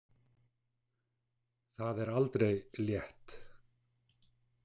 Það er aldrei létt.